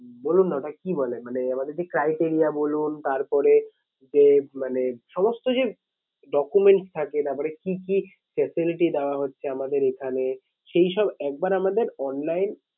বলুন না ওটা কি বলে? মানে আমাদের যে criteria বলুন তারপরে যে মানে সমস্ত যে document থাকে তারপরে কি কি facility দেওয়া হচ্ছে আমাদের এখানে সেই সব একবার আমাদের online